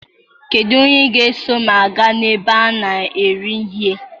Kedu onye ga-eso m gaa na ebe a na-ere ihe?